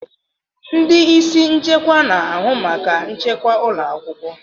Ndị isi nchekwa na-ahụ maka nchekwa ụlọ akwụkwọ.